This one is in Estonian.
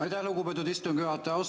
Aitäh, lugupeetud istungi juhataja!